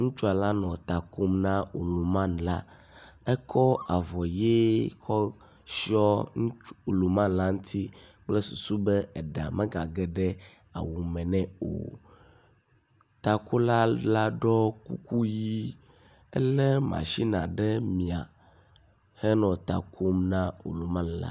Ŋutsua la nɔ ta kom na oluman la, ekɔ avɔ ʋi kɔ tsyɔ oluman la ŋti kple susu be eɖa megage ɖe awu me nɛ o. Takola la ɖɔ kuku ʋi, elé “machina” ɖe mia henɔ ta kom na oluman la.